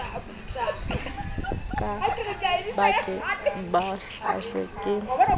ba ke ba hahlwe ke